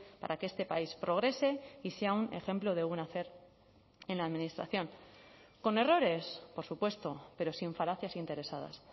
para que este país progrese y sea un ejemplo de buen hacer en la administración con errores por supuesto pero sin falacias interesadas